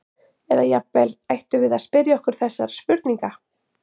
Eða jafnvel: Ættum við að spyrja okkur þessara spurninga?